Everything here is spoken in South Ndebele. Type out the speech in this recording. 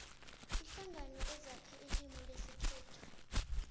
iinhlangano ezakha ilimu lesikhethu